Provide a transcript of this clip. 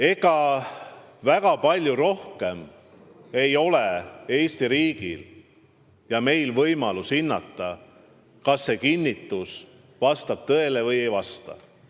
Ega väga palju rohkem ei ole Eesti riigil ja meil võimalust hinnata, kas see kinnitus vastab tõele või ei vasta.